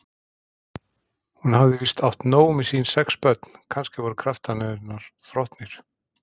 Hún hafði víst átt nóg með sín sex börn, kannski voru kraftar hennar þrotnir?